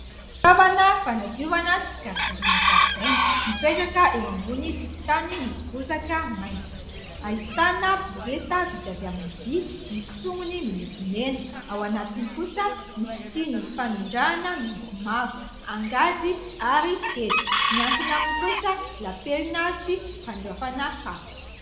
Fitaoavana fanadiovana sy fikarakarana zaridaina mipetraka eo ambony tokontany misy bozaka maintso. Ahitana borety vita avy amin'ny vỳ, misy tongony miloko mena. Ao anatiny kosa misy siny fanondrahana miloko mavo, angady, ary hety. Miankina aminy kosa lapelona sy fandraofana fako.